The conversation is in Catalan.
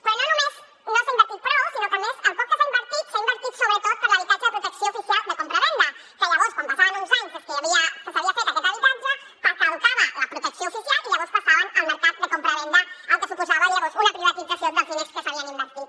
però no només no s’hi ha invertit prou sinó que a més el poc que s’hi ha invertit s’ha invertit sobretot per l’habitatge de protecció oficial de compravenda que llavors quan passaven uns anys des que s’havia fet aquest habitatge caducava la protecció oficial i llavors passaven al mercat de compravenda cosa que suposava una privatització dels diners que s’hi havien invertit